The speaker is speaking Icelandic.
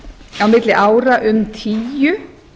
á milli ára um tíu